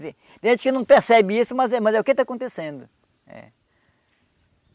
Quer dizer, tem gente que não percebe isso, mas é mas é o que está acontecendo.